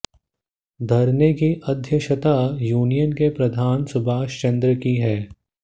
धरने की अध्यक्षता यूनियन के प्रधान सुभाष चंद्र ने की